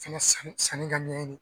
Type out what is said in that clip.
Fɛnɛ sanni sanni ka ɲɛɲini